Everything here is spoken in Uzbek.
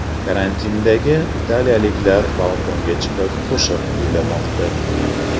Karantindagi italiyaliklar balkonga chiqib qo‘shiq kuylamoqda .